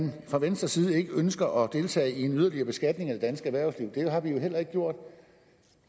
man fra venstres side ikke ønsker at deltage i en yderligere beskatning af det danske erhvervsliv det har vi jo heller ikke gjort